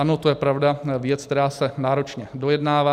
Ano, to je, pravda, věc, která se náročně dojednává.